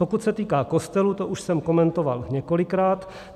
Pokud se týká kostelů, to už jsem komentoval několikrát.